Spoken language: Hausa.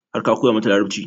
Har ka koya mata Larabci?